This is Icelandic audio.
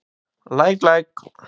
Læk læk.